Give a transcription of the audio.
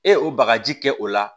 E ye o bagaji kɛ o la